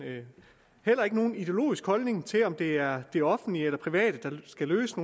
heller ikke nogen ideologisk holdning til om det er det offentlige eller det private der skal løse